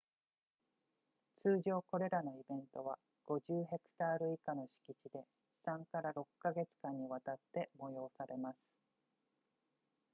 通常これらのイベントは50ヘクタール以下の敷地で 3～6 か月間にわたって催されます